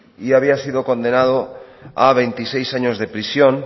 y había sido condenado a veintiséis años de prisión